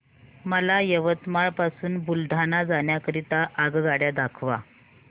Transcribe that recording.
मला यवतमाळ पासून बुलढाणा जाण्या करीता आगगाड्या दाखवा